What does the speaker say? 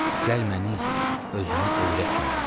Gəl məni özünə öyrətmə məni.